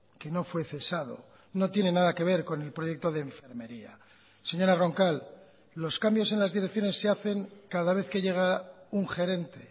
que no fue cesado no tiene nada que ver con el proyecto de enfermería señora roncal los cambios en las direcciones se hacen cada vez que llega un gerente